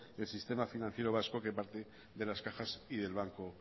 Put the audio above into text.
el sistema financiero vasco que parte de las cajas y del banco